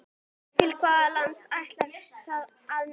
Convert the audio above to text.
Til hvaða landa ætti það að ná?